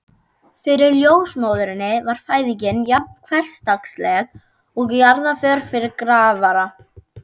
Fyrir ljósmóðurinni var fæðing jafn hversdagsleg og jarðarför fyrir grafara.